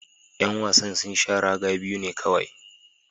Yan wasan sun sha raga biyu ne kowai.